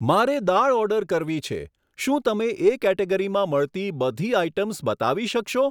મારે દાળ ઓર્ડર કરવી છે, શું તમે એ કેટેગરીમાં મળતી બધી આઇટમ બતાવી શકશો?